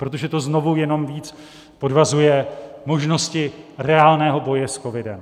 Protože to znovu jenom víc podvazuje možnosti reálného boje s covidem.